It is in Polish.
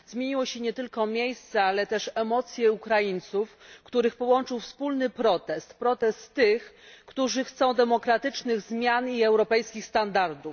Zmieniło się nie tylko miejsce, ale też emocje Ukraińców, których połączył wspólny protest protest tych, którzy chcą demokratycznych zmian i europejskich standardów.